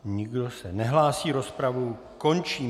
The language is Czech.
Nikdo se nehlásí, rozpravu končím.